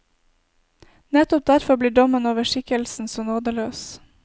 Nettopp derfor blir dommen over skikkelsen så nådeløs.